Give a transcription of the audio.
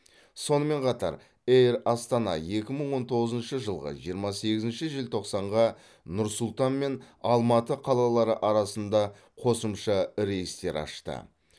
сонымен қатар эйр астана екі мың он тоғызыншы жылғы жиырма сегізінші желтоқсанға нұр сұлтан мен алматы қалалары арасында қосымша рейстер ашты